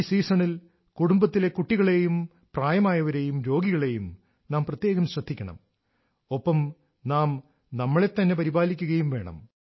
ഈ സീസണിൽ കുടുംബത്തിലെ കുട്ടികളെയും പ്രായമായവരെയും രോഗികളെയും നാം പ്രത്യേകം ശ്രദ്ധിക്കണം ഒപ്പം നാം നമ്മളെത്തന്നെ പരിപാലിക്കുകയും വേണം